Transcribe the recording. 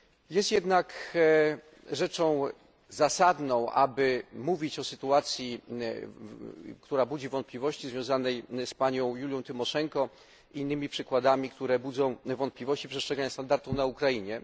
Jest rzeczą zasadną, aby mówić o sytuacji, która budzi wątpliwości, związanej z panią Julią Tymoszenko i innymi przykładami, które budzą wątpliwości co do przestrzegania standardów na Ukrainie.